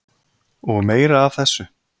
Og meira af þessu.